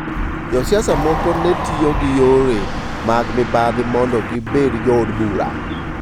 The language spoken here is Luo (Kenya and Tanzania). Josiasa moko ne tiyo gi yore mag mibadhi mondo gibedo jood bura.